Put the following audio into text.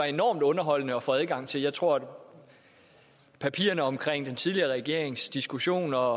enormt underholdende at få adgang til jeg tror at papirerne om den tidligere regerings diskussioner